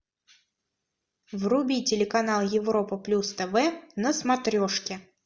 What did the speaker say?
вруби телеканал европа плюс тв на смотрешке